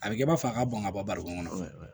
A bɛ kɛ i b'a fɔ a ka ban ka bɔ barokɛ kɔnɔ